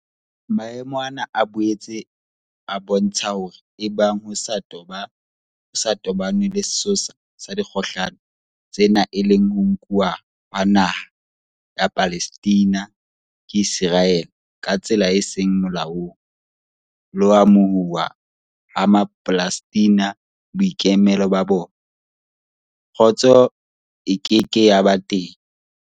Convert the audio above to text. Maemo ana a boetse a bo ntsha hore ebang ho sa toba nwe le sesosa sa dikgohlano tsena e leng ho nkuwa ha naha ya Palestina ke Iseraele ka tsela e seng molaong, le ho amohuwa ha Mapalestina boikemelo ba bona, kgotso e ke ke ya ba teng.